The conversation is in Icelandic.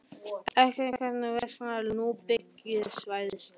En hvers vegna eru ekki skipulögð ný byggingarsvæði strax?